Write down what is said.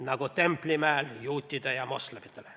Nagu Templimäel juutidele ja moslemitele.